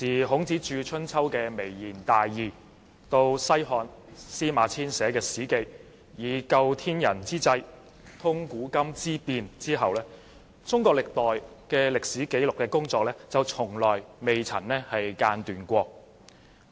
孔子著《春秋》談及微言大義，後來西漢司馬遷撰寫《史記》提到"究天人之際，通古今之變"，中國歷代的歷史紀錄工作一直從未間斷。